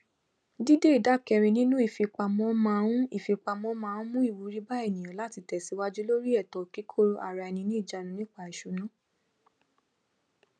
dídé ìdá kẹrin nínú ìfipamọ máa ń ìfipamọ máa ń mú ìwúrí bá ènìyàn láti tẹsíwájú lórí ètò kíkóaraẹniniìjánu nípa ìṣúná